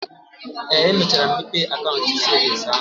Ee, emechara m mepee akaụntụ cevins ahụ.